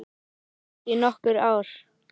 Ég var gift í nokkur ár.